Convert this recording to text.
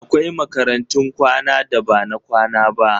Akwai makarantun kwana da ba na kwana ba.